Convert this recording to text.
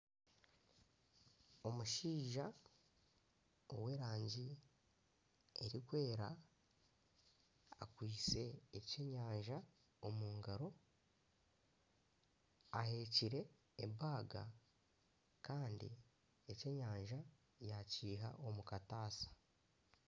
Omushaija ow'erangi erikwera, akwitse ekyenyanja omu ngaro, ahekire ebaga kandi ekyenyanja yaakiiha omu kataasha